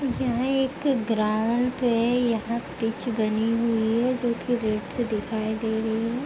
यहां एक ग्राउन्ड पे यहां पिच बनी हुई है जो कि गेट से दिखाई दे रही है।